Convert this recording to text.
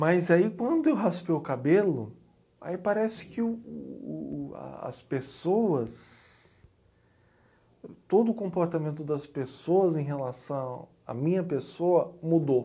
Mas aí quando eu raspei o cabelo, aí parece que o o o a, as pessoas, todo o comportamento das pessoas em relação à minha pessoa mudou.